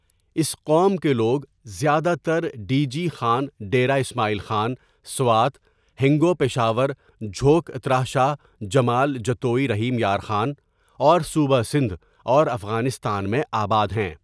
اس قوم کے لوگ زیادہ تر ڈی جی خان ڈیرہ اسماعیل خان سوات ہنگو پشاور جھوک اترا شاہ جمال جتوئی رحیم یار خان اور صوبہ سندھ اور افغانستان میں آباد ہے.